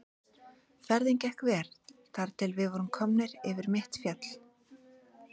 Ferðin gekk vel þar til við vorum komnir yfir mitt fjall.